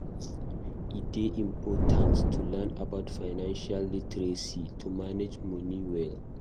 E dey important to learn about financial literacy to manage money well.